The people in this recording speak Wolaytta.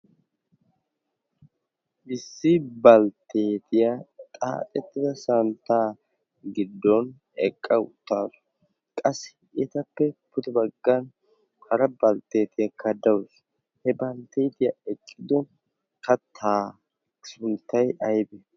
Issi balttetiya xaaxettida santta giddon eqqa uttaasu, qassi etappe pudee baggan hara balttetiyakka dawusu he baltteetiya eqqidi katta sunttay aybee?